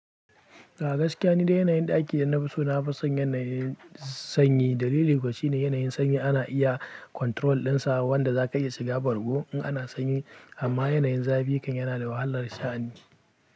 A gaskiya ni dai yanayin ɗaki da na fi so na fi son yanayin sanyi. Dalili kuwa shine yanayin sanyi ana iya control ɗinsa wanda za ka iya shiga bargo in ana sanyi amma yanayin zafi kan yana da wahalar sha'ani.